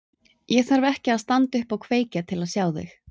Ég þarf ekki að standa upp og kveikja til að sjá þig.